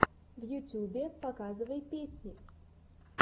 в ютюбе показывай песни